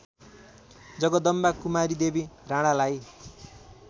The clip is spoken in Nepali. जगदम्बा कुमारीदेवी राणालाई